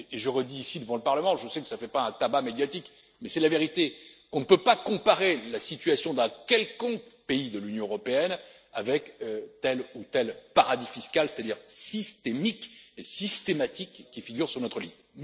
États membres. Je le redis ici devant le Parlement je sais que cela ne fait pas un tabac médiatique, mais c'est la vérité on ne peut pas comparer la situation d'un quelconque pays de l'Union européenne avec tel ou tel paradis fiscal, c'est-à-dire systémique et systématique qui figure sur